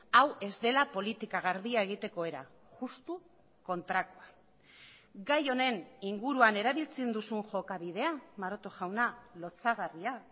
hau ez dela politika garbia egiteko era justu kontrakoa gai honen inguruan erabiltzen duzun jokabidea maroto jauna lotsagarria